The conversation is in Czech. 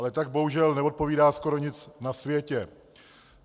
Ale tak bohužel neodpovídá skoro nic na světě.